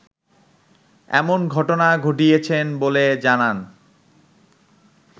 এমন ঘটনা ঘটিয়েছেন বলে জানান